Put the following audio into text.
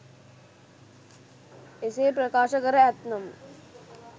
එසේ ප්‍රකාශ කර ඇත්නම්